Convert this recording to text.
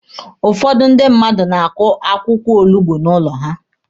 Ụfọdụ ndị mmadụ na-akụ akwụkwọ olugbo n'ụlọ ha.